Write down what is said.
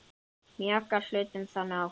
Mjaka hlutum þannig áfram.